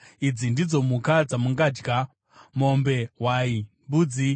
Idzi ndidzo mhuka dzamungadya: mombe, hwai, mbudzi,